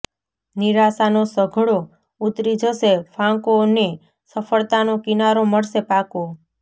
નિરાશાનો સઘળો ઊતરી જશે ફાંકો ને સફળતાનો કિનારો મળશે પાકો